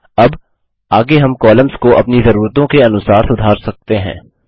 अब आगे हम कॉलम्स को अपनी ज़रूरतों के अनुसार सुधार सकते हैं